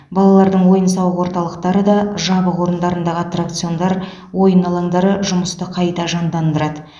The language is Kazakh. балалардың ойын сауық орталықтары да жабық орындардағы аттракциондар ойын алаңдары жұмысты қайта жандандырырады